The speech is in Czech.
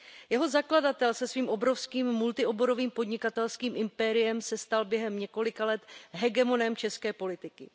Jeho zakladatel se svým obrovským multioborovým podnikatelským impériem se stal během několika let hegemonem české politiky.